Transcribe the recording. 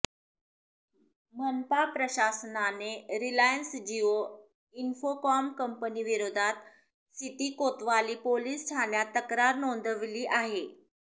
मनपा प्रशासनाने Reliance Jio Infocomm कंपनीविरोधात सिटी कोतवाली पोलीस ठाण्यात तक्रार नोंदविली आहे